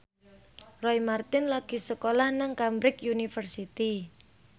Roy Marten lagi sekolah nang Cambridge University